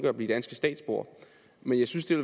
at blive danske statsborgere men jeg synes det